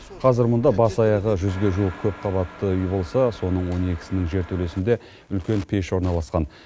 қазір мұнда бас аяғы жүзге жуық көпқабатты үй болса соның он екісінің жертөлесінде үлкен пеш орналасқан